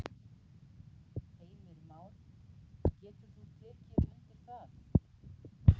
Heimir Már: Getur þú tekið undir það?